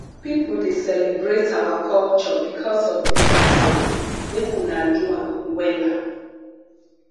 pipo dey celebrate our culture because of dis dance o make una do am wella